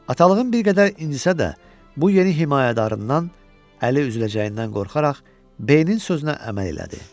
Atalığım bir qədər incisə də, bu yeni himayədarından əli üzüləcəyindən qorxaraq, B-nin sözünə əməl elədi.